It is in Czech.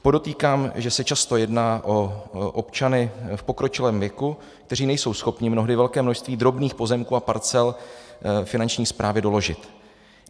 Podotýkám, že se často jedná o občany v pokročilém věku, kteří nejsou schopni mnohdy velké množství drobných pozemků a parcel Finanční správě doložit.